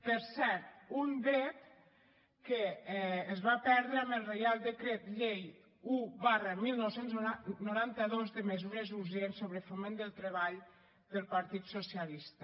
per cert un dret que es va perdre amb el reial decret llei un dinou noranta dos de mesures urgents sobre foment del treball del partit socialista